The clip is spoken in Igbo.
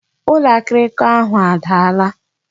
Ụlọ akịrịka ahụ adaala